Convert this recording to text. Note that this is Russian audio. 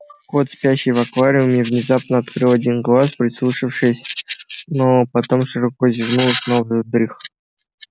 кот спящий в аквариуме внезапно открыл один глаз прислушавшись но потом широко зевнул и снова задрых